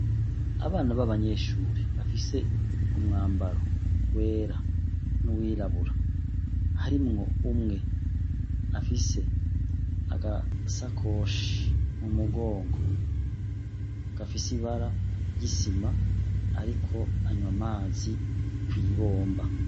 Abana baba nyeshure bafise umwambaro wera n'uwirabura, harimwo umwe afise agasakoshi mumugongo gafise ibara ry'isima ariko anywa amazi kw'ibomba.